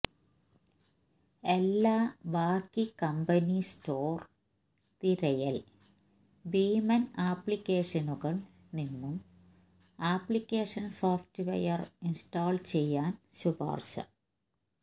എല്ലാ ബാക്കി company store തിരയൽ ഭീമൻ അപ്ലിക്കേഷനുകൾ നിന്നും അപ്ലിക്കേഷൻ സോഫ്റ്റ്വെയർ ഇൻസ്റ്റാൾ ചെയ്യാൻ ശുപാർശ